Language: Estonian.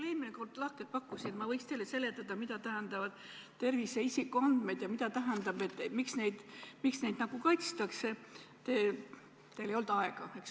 Ma eelmine kord lahkelt pakkusin, et võin teile seletada, mida tähendavad tervisega seotud isikuandmed ja miks neid kaitstakse, aga teil ei olnud aega.